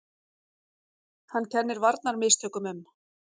Hann kennir varnarmistökum um.